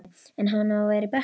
En á hann að vera á bekknum?